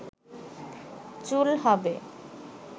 চুল হবে